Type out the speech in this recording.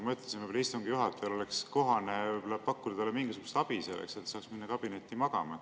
Ma mõtlesin, et istungi juhatajal oleks ehk kohane pakkuda talle mingisugust abi, et ta saaks minna kabinetti magama.